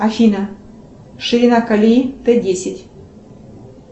афина ширина колеи т десять